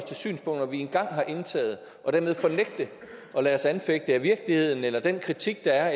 til synspunkter vi engang har indtaget og dermed nægte at lade os anfægte af virkeligheden eller den kritik der er